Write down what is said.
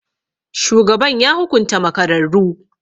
Shugaban ya hukunta makararru.